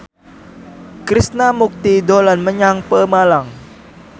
Krishna Mukti dolan menyang Pemalang